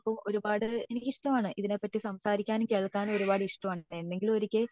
ഇപ്പോ ഒരുപാട് എനിക്ക് ഇഷ്ടമാണ് ഇതിനെ പാറ്റി സംസാരിക്കാനും കേൾക്കാനും ഒരുപാട് ഇഷ്ടമാണ് എന്നെങ്കിലും ഒരിക്കെ